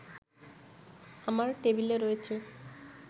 আমার টেবিলে রয়েছে